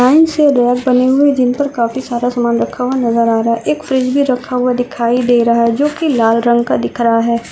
Line से ramp बने हुए है जिनपे काफी सारा सामान रखा हुआ नजर आ रहा है एक फ्रिज भी रखा दिखाई दे रहा है लाल रंग का दिख रहा है।